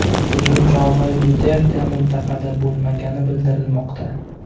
Hujum chog‘i Duterte mintaqada bo‘lmagani bildirilmoqda.